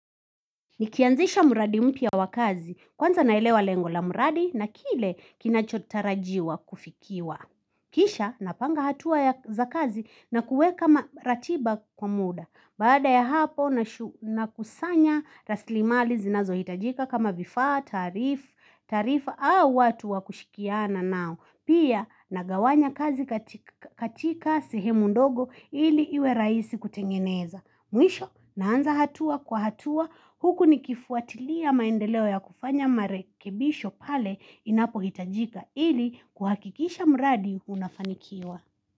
Nikianzisha mradi mpya wa kazi, kwanza naelewa lengo la mradi na kile kinachotarajiwa kufikiwa. Kisha napanga hatua ya za kazi na kuweka ratiba kwa muda. Baada ya hapo nakusanya raslimali zinazohitajika kama vifaa, taarif, taarifa au watu wa kushikiana nao. Pia nagawanya kazi katika sihemu ndogo ili iwe rahisi kutengeneza. Mwisho naanza hatua kwa hatua huku nikifuatilia maendeleo ya kufanya marekebisho pale inapohitajika ili kuhakikisha mradi unafanikiwa.